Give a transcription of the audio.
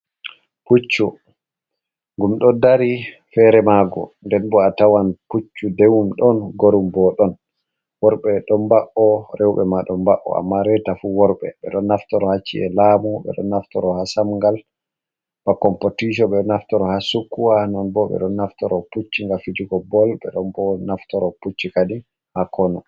Puccu gum ɗo dari fere mag, nden bo a tawan puccu dewum ɗon gorum bo ɗon worɓe, e ɗon mba’o rewɓɓe ma ɗon mbao, amma reita fu worɓɓe ɓe ɗo naftoro hacci’e lamu, ɓe ɗo naftoro ha samgal ba compotitio ɓe ɗo naftoro ha sukuwa, non bo ɓe ɗo naftoro pucci nga fijugo bol, ɓe ɗon bo naftoro pucci kadi ha konu.